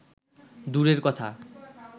দূরের কথা